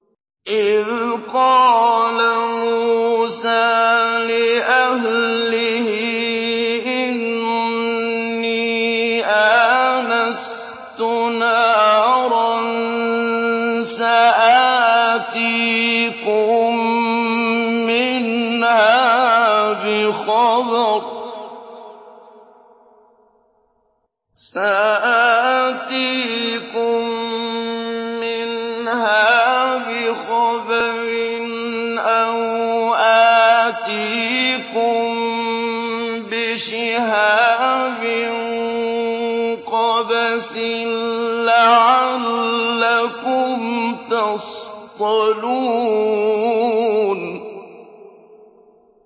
إِذْ قَالَ مُوسَىٰ لِأَهْلِهِ إِنِّي آنَسْتُ نَارًا سَآتِيكُم مِّنْهَا بِخَبَرٍ أَوْ آتِيكُم بِشِهَابٍ قَبَسٍ لَّعَلَّكُمْ تَصْطَلُونَ